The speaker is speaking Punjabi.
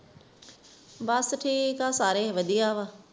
ਬਸ ਠੀਕ ਆ ਸਾਰੇ ਵਧੀਆ ਵਾ